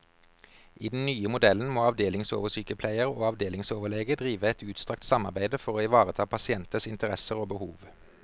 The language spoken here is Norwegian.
I den nye modellen må avdelingsoversykepleier og avdelingsoverlege drive et utstrakt samarbeide for å ivareta pasienters interesser og behov.